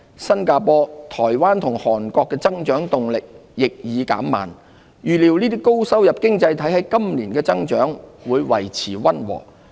新加坡、台灣和韓國的增長動力亦已減慢，預料這些高收入經濟體今年的增長會維持溫和。